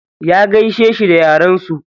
Ya gaishe shi da yaren su.